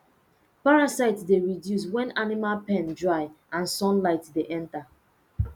parasite dey reduce when animal pen dry and sunlight dey enter